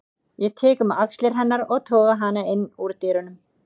Ég tek um axlir hennar og toga hana inn úr dyrunum.